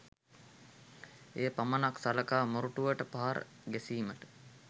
එය පමණක් සලකා මොරටුවට පහර ගැසීමට